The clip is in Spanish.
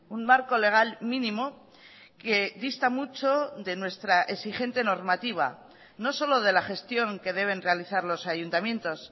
un marco legal mínimo que dista mucho de nuestra exigente normativa no solo de la gestión que deben realizar los ayuntamientos